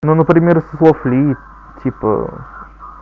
ну например со слов ли типа